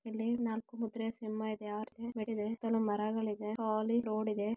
ಇಲ್ಲೀ ನಾಲ್ಕು ಮುದ್ರೆಯಾ ಸಿಂಹ ಇದೆ ಮರಗಳಿವೆ --